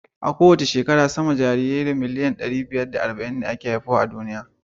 A kowace shekara, sama da jarirai miliyan ɗari da arba'in ne ake haifa a duniya.